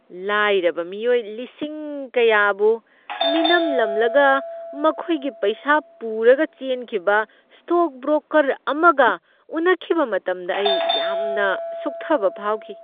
ꯂꯥꯏꯔꯕ ꯃꯤꯑꯣꯏ ꯂꯤꯁꯤꯡ ꯀꯌꯥꯕꯨ ꯃꯤꯅꯝꯂꯝꯂꯒ ꯃꯈꯣꯏꯒꯤ ꯄꯩꯁꯥ ꯄꯨꯔꯒ ꯆꯦꯟꯈꯤꯕ ꯁ꯭ꯇꯣꯛ ꯕ꯭ꯔꯣꯀꯔ ꯑꯃꯒ ꯎꯅꯈꯤꯕ ꯃꯇꯝꯗ ꯑꯩ ꯌꯥꯝꯅ ꯁꯨꯛꯊꯕ ꯐꯥꯎꯈꯤ꯫